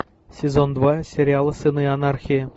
сезон два сериала сыны анархии